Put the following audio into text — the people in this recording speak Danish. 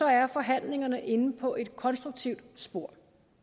er forhandlingerne inde på et konstruktivt spor